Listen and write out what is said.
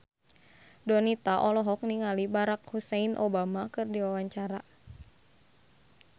Donita olohok ningali Barack Hussein Obama keur diwawancara